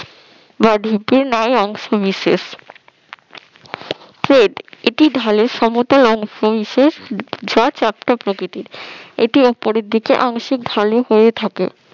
ন্যায় অংশবিশেষ ক্ষেপ এটি ঢালের সমতল অংশবিশেষ যা চ্যাপ্টা প্রকৃতির এটা উপরের দিকে আংশিক ঢালু হয়ে থাকে